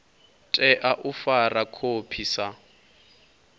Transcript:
tea u fara khophi sa